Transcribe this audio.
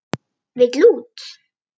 Vill út.